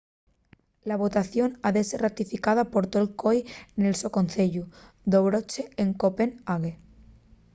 la votación ha ser ratificada por tol coi nel so conceyu d’ochobre en copenh.ague